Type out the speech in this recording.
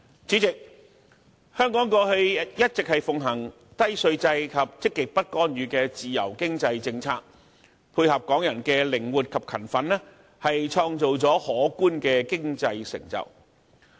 主席，香港過去一直奉行低稅制及積極不干預的自由經濟政策，配合港人的靈活、勤奮，創造了可觀的經濟成就。